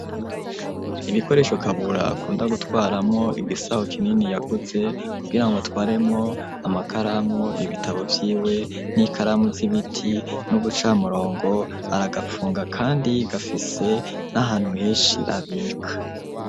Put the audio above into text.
Ibikoresho, Kabura akunda gutwaramwo igisaho kinini yaguze, kugirango atwaremwo amakaramu, ibitabo vyiwe, n'ikaramu z'ibiti n'ubucamurongo, aragapfunga kandi gafise n'ahantu henshi abika.